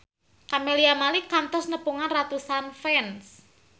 Camelia Malik kantos nepungan ratusan fans